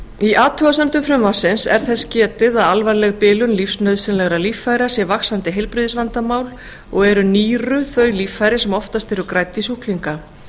í athugasemdum frumvarpsins er þess getið að alvarleg bilun lífsnauðsynlegra líffæra sé vaxandi heilbrigðisvandamál og eru nýru þau líffæri sem oftast eru grædd í sjúklinga